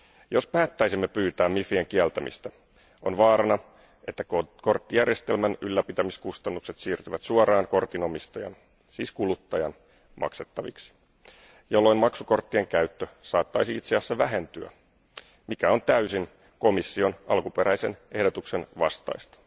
Jos päättäisimme pyytää MIFien kieltämistä, on vaarana, että korttijärjestelmän ylläpitämiskustannukset siirtyvät suoraan kortin omistajan, siis kuluttajan, maksettaviksi, jolloin maksukorttien käyttö saattaisi itse asiassa vähentyä, mikä on täysin komission alkuperäisen ehdotuksen vastaista.